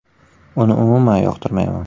Uni umuman yoqtirmayman.